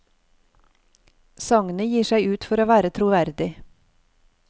Sagnet gir seg ut for å være troverdig.